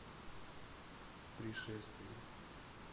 пришествие